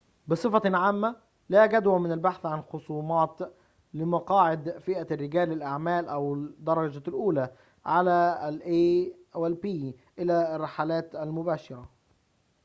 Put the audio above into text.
بصفة عامة لا جدوى من البحث عن خصومات لمقاعد فئة رجال الأعمال أو الدرجة الأولى على الرحلات المباشرة من a إلى b